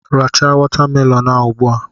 Racha watamelonụ a ugbua!